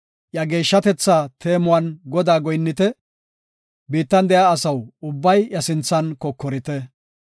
Iya geeshshatetha teemuwan Godaa goyinnite; biittan de7iya asaw ubbay iya sinthan kokorite.